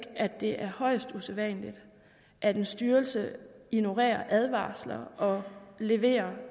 at det er højst usædvanligt at en styrelse ignorerer advarsler og leverer